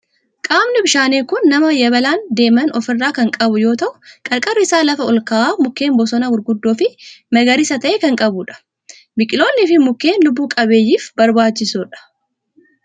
Qaamni bishaanii kun nama yabalaan deeman of irraa kan qabu yoo ta'u qarqarri isaa lafa olka'aa mukkeen bosonaa gurguddoo fi magariisa ta'ee kan qabudha. Biqiltoonni fi mukkeen lubbu qabeeyyif barbaachisoodha.